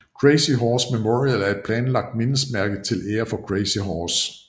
Crazy Horse Memorial er et planlagt mindesmærke til ære for Crazy Horse